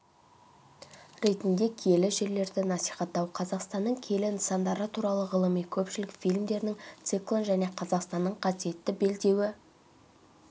ретінде киелі жерлерді насихаттау қазақстанның киелі нысандары туралы ғылыми-көпшілік фильмдерінің циклын және қазақстанның қасиетті белдеуі